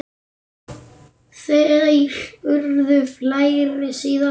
Þær urðu fleiri síðar.